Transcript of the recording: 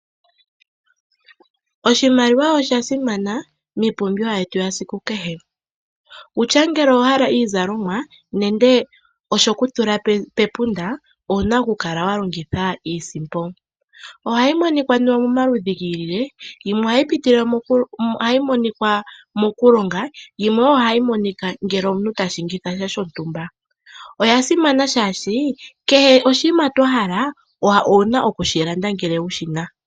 Oshimaliwa osha simana miipumbiwa yetu yesiku kehe wutya ngele owahala iizalomwa nenge oshokutula pepunda owuna ku kala wa longitha iisimpo. Ohayi monika momaludhi gi ilile, yimwe ohayi monika mokulonga yimwe ohayi monika ngele omuntu ta landitha sha shontumba. Oya simana shaashi kehe oshiima twa pumbwowuna okushi landa ngele wushi na.